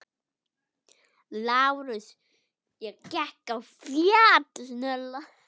LÁRUS: Ég gekk á fjall.